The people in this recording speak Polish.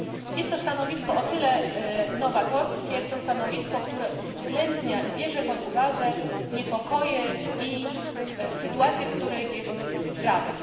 Jest to stanowisko o tyle nowatorskie, co stanowisko, które uwzględnia i bierze pod uwagę niepokoje i sytuację, w jakiej znajduje się Rada.